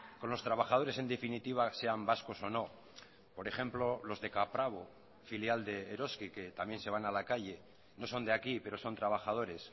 con los trabajadores en definitiva sean vascos o no por ejemplo los de caprabo filial de eroski que también se van a la calle no son de aquí pero son trabajadores